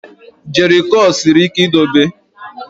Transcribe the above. Jerrycurl siri ike idobe ya.